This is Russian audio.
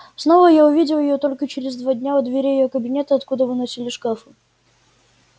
снова я увидел её только через два дня у дверей её кабинета откуда выносили шкафы